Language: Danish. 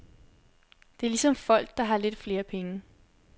Det er ligesom folk, der har lidt flere penge.